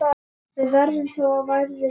Það verður þó ærið verk.